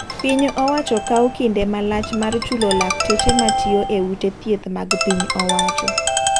Piny owacho kawo kinde malach mar chulo lakteche ma tiyo e ute thieth mag piny owacho.